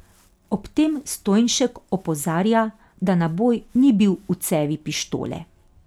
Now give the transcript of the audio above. Ob tem Stojnšek opozarja, da naboj ni bil v cevi pištole.